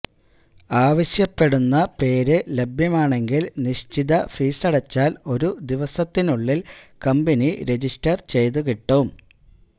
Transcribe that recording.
ആവശ്യപ്പെടുന്ന പേര് ലഭ്യമാണെങ്കില് നിശ്ചിത ഫീസടച്ചാല് ഒരു ദിവസത്തിനുള്ളില് കമ്പനി രെജിസ്റ്റര് ചെയ്തു കിട്ടും